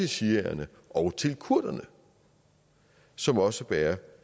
shiaerne og til kurderne som også bærer